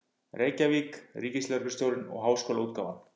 Reykjavík: Ríkislögreglustjórinn og Háskólaútgáfan.